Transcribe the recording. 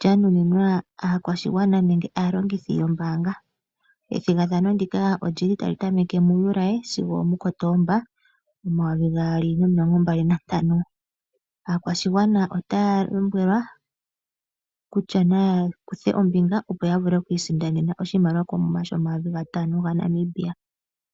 lyanuninwa aakwashigwana nenge aalongithi yombaanga. Ethigathano ndika otali tameke muJuuli sigo omuKootomba omayovi gaali nomilongo mbali nantano (2025). Aakwashigwana otaya tseyithilwa kutya naya kuthe ombinga opo ya isindanene oshimaliwa koomuma shoodola omayovi gatano gaNamibia (N$5 000).